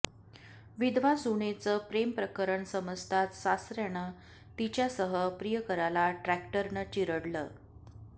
विधवा सूनेचं प्रेमप्रकरण समजताच सासऱ्यानं तिच्यासह प्रियकराला ट्रॅक्टरनं चिरडलं